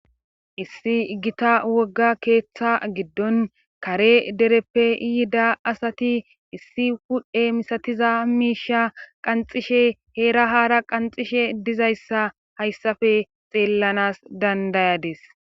issi gita wogga keeththa giddon kare dereppe yiida asati issi wudhe misatiza miisha qanxishe heera haara qanxishe dizayssa hayssafe xeellanas dandayades